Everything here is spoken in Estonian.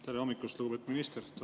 Tere hommikust, lugupeetud minister!